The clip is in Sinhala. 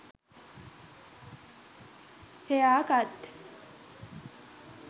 hair cut